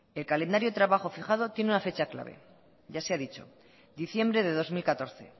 el calendario de trabajo fijado tiene una fecha clave ya se ha dicho diciembre de dos mil catorce